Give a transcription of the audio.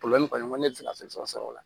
kɔni ne ti se ka fɛn sɔrɔ o la